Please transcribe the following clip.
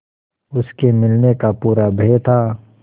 उसके मिलने का पूरा भय था